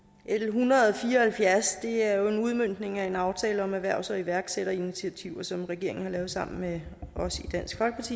hundrede og fire og halvfjerds er jo en udmøntning af en aftale om erhvervs og iværksætterinitiativer som regeringen har lavet sammen med os